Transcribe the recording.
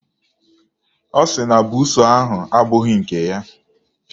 Ọ sị na buusu ahụ abụghị nke ya.